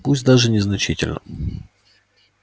пусть даже незначительно